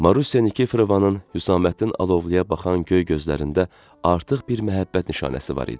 Marusya Nikiforovanın Hüsamməddin Alovluya baxan göy gözlərində artıq bir məhəbbət nişanəsi var idi.